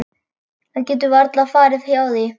Það getur varla farið hjá því.